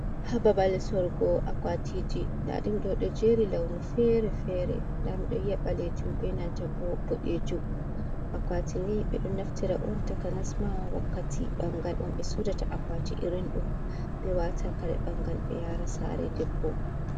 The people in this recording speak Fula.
Hababal sorugo akwatiji. Nda dum do ɗo jeri launu fere-fere. Nda miɗo yi'a balejim be nanta bo boɗejum. Akwati ni ɓe ɗo naftira on takanasma wakkati bangal on ɓe sodata akwati irin ɗum, ɓe watata kare bangal ɓe yara sare debbo.